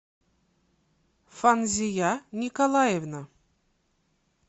фанзия николаевна